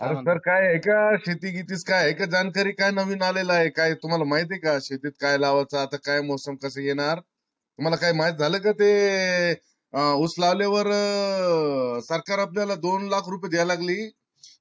आरे sir काय आहे का? शेती बितीत काय आहे का जाणकारी काय नवींन आलेला आहे का? काय तुम्हाला माहित आहे का? शेतीत काय लावयाच? आता काय मौसम कस येणार? मला काय माहित झाल का ते अं उस लावल्या वर सरकार आपल्या ला दोन लाख रुपये द्यायला लागली.